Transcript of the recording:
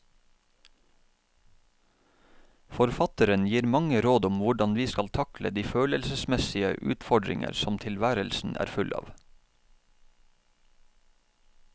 Forfatteren gir mange råd om hvordan vi skal takle de følelsesmessige utfordringer som tilværelsen er full av.